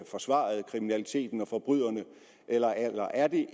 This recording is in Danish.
forsvarede kriminaliteten og forbryderne eller er det